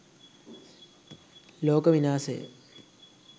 loka winasaya